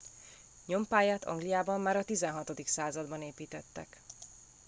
nyompályát angliában már a 16. században építettek